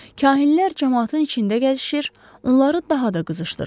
Kahinlər camaatın içində gəzişir, onları daha da qızışdırırdı.